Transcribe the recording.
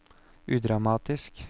udramatisk